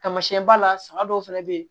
Taamasiyɛn ba la saga dɔw fɛnɛ bɛ yen